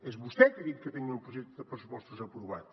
és vostè qui ha dit que tenia un projecte de pressupostos aprovat